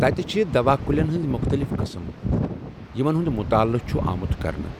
تَتہِ چھِ دوا کُلٮ۪ن ہٕنٛز مُختلِف قٕسٕم، یِمن ہُنٛد مُطٲلعہ چھُ آمُت کرنہٕ۔